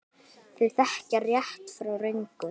Þau þekkja rétt frá röngu.